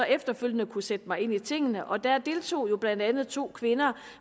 efterfølgende kunne sætte mig ind i tingene og der deltog jo blandt andet to kvinder